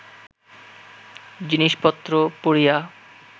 জিনিষপত্র পুড়িয়া